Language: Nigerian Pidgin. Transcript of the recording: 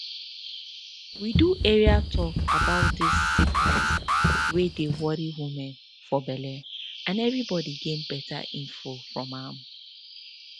we do area talk about dis sickness wey dey worry woman for belle and everybodi gain beta info from am